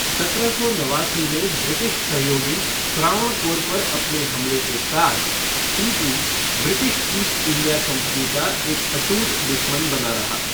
सत्रह सौ नवासी में ब्रिटिश सहयोगी त्रावणकोर पर अपने हमले के साथ Tipu British East India company का एक अटूट दुश्मन बना रहा।